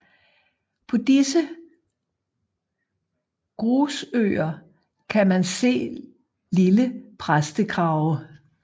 På disse grusøer kan man se lille præstekrave